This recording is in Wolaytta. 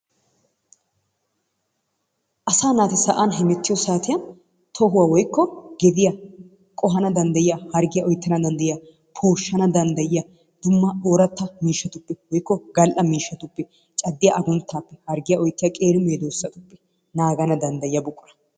Asaa naati sa'an hemettiyo saattiyan tohuwa woikko gediya qohanna danddayiya harggiya oyttana dandayiyaa pooshshana danddayiyaa dumma oratta woikko gal'a miishshatuppe caddiya agunttan harggiya oyttiya qeeri meedosata naagana danddayiyaa buqura.